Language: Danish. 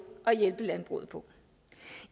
at hjælpe landbruget på